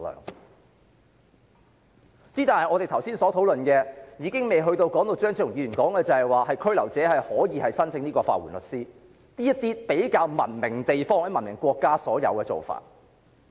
可是，其實我們剛才的討論，也尚未進入張超雄議員提出的事宜，即被拘留者可以申請法援律師的服務，這種在較文明地方或國家也有的做法。